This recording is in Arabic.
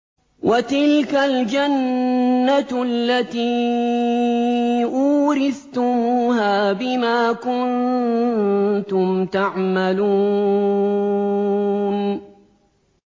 وَتِلْكَ الْجَنَّةُ الَّتِي أُورِثْتُمُوهَا بِمَا كُنتُمْ تَعْمَلُونَ